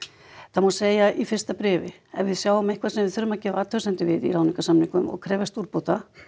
það má segja í fyrsta bréfi ef við sjáum eitthvað sem við þurfum að gera athugasemdir við í ráðningarsamningum og krefjast úrbóta